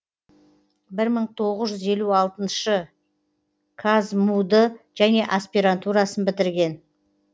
бір мың тоғыз жүз елу алтыншы қазму ды және аспирантурасын бітірген